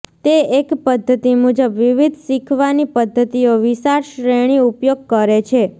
તે એક પદ્ધતિ મુજબ વિવિધ શીખવાની પદ્ધતિઓ વિશાળ શ્રેણી ઉપયોગ કરે છે